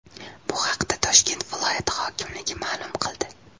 Bu haqda Toshkent viloyati hokimligi ma’lum qildi .